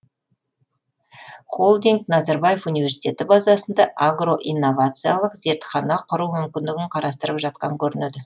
холдинг назарбаев университеті базасында агроинновациялық зертхана құру мүмкіндігін қарастырып жатқан көрінеді